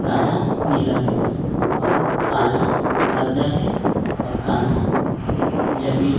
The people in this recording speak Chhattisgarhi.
गाढ़ा नीला पहिनी से अऊ काला पर्दा हे अऊ काला जमिने--